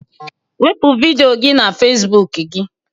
Wepu vidiyo na Facebook gị